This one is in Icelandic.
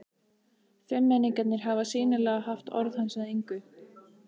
Fimmmenningarnir hafa sýnilega haft orð hans að engu.